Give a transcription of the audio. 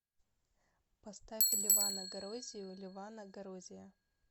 поставь левана горозию левана горозия